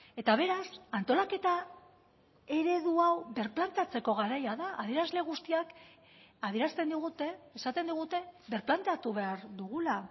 eta beraz antolaketa eredu hau birplanteatzeko garaia da adierazle guztiak adierazten digute esaten digute birplanteatu behar dugula